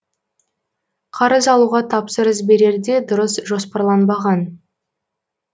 қарыз алуға тапсырыс берерде дұрыс жоспарланбаған